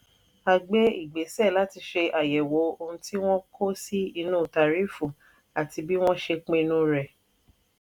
a gbé ìgbésẹ́ láti ṣe àyẹ̀wò ohun tí wọ́n kó sí inú tàriífù àti bí wọ́n ṣe pinnu rẹ̀